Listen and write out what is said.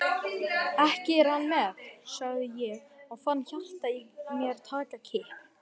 Ekki er hann með? sagði ég og fann hjartað í mér taka kipp.